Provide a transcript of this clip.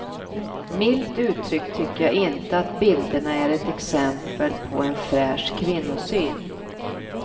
Milt uttryckt tycker jag inte att bilderna är ett exempel på en fräsch kvinnosyn.